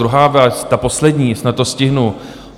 Druhá věc, ta poslední, snad to stihnu.